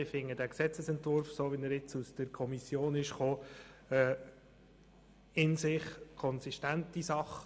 Wir halten den Gesetzesentwurf, so wie er aus der Kommission kommt, für eine in sich konsistente Sache.